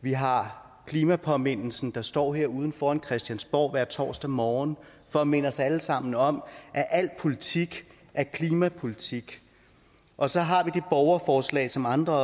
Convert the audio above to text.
vi har klimapåmindelsen der står herude foran christiansborg hver torsdag morgen for at minde os alle sammen om at al politik er klimapolitik og så har vi borgerforslagene som andre